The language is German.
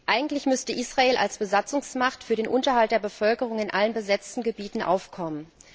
Eigentlich müsste Israel als Besatzungsmacht für den Unterhalt der Bevölkerung in allen besetzten Gebieten aufkommen.